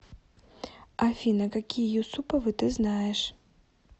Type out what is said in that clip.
афина какие юсуповы ты знаешь